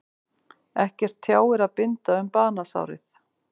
Ekki tjáir að binda um banasárið.